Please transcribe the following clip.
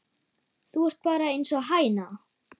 Þú ert bara einsog hæna.